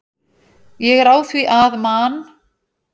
Ég er á því að Man.